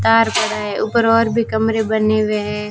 तार पड़ा है ऊपर और भी कमरे बने हुए हैं।